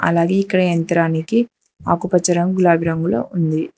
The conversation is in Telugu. అలాగే ఇక్కడ యంత్రానికి ఆకుపచ్చ రంగు గులాబి రంగులో ఉంది.